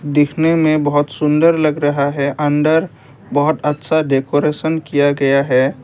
देखने में बहुत सुंदर लग रहा है अंदर बहोत अच्छा डेकोरेशन किया गया है।